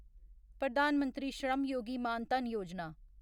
Pradhan Mantri Shram Yogi Maan Dhan Yojana